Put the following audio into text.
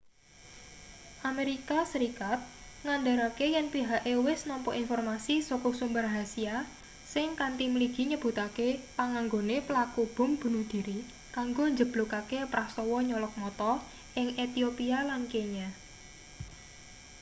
amerika serikat ngandharake yen pihake wis nampa informasi saka sumber rahasya sing kanthi mligi nyebutake panganggone pelaku bom bunuh dhiri kanggo njeblukake prastawa nyolok mata ing ethiopia lan kenya